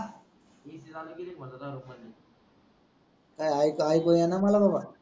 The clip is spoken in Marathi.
काही आयकू आयकू ये ना मला बाबा,